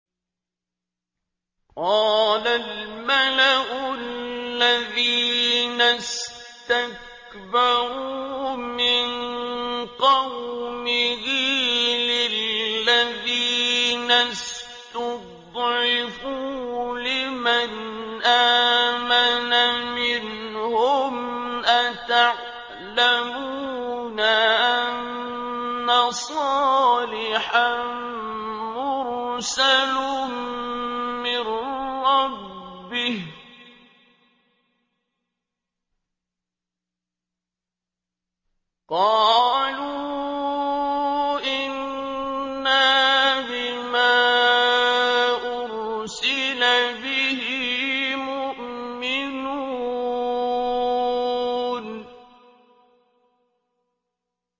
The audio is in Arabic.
قَالَ الْمَلَأُ الَّذِينَ اسْتَكْبَرُوا مِن قَوْمِهِ لِلَّذِينَ اسْتُضْعِفُوا لِمَنْ آمَنَ مِنْهُمْ أَتَعْلَمُونَ أَنَّ صَالِحًا مُّرْسَلٌ مِّن رَّبِّهِ ۚ قَالُوا إِنَّا بِمَا أُرْسِلَ بِهِ مُؤْمِنُونَ